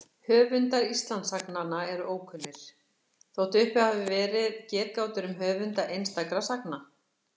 Höfundar Íslendingasagnanna eru ókunnir, þótt uppi hafi verið getgátur um höfunda einstakra sagna.